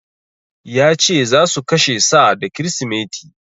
Ya ce za su kashe sa da Kirsimeti.